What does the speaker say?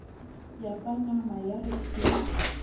ya panama ya re pheu